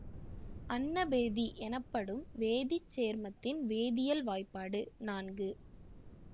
அன்னபேதி எனப்படும் வேதி சேர்மத்தின் வேதியியல் வாய்பாடு நான்கு